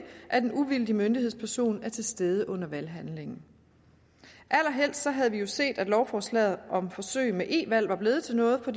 at en uvildig myndighedsperson er tilstede under valghandlingen allerhelst havde vi jo set at lovforslaget om forsøg med e valg var blevet til noget for